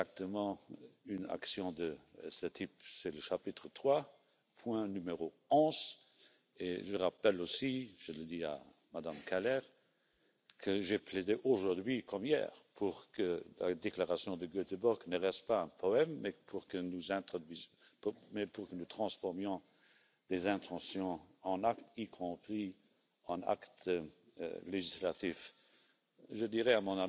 to put that on the Council's agenda very soon. Given the specific political context, before the end of the current parliamentary term, there is indeed a need to concentrate on the delivery of pending proposals and on the effective implementation of legislation. Be assured that the Austrian Presidency's energy and determination is fully focused on this. In recent months, there have been developments which may on the surface seem contradictory.